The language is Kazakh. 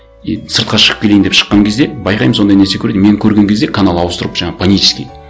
и сыртқа шығып келейін деп шыққан кезде байқаймын сондай нәрсе көреді и мені көрген кезде канал ауыстырып жаңа панически